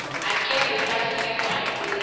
hakelo yo lahlekeriwa hi ntirho